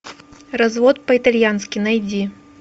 развод по итальянски найди